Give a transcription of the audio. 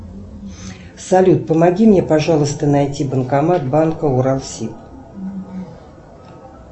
салют помоги мне пожалуйста найти банкомат банка уралсиб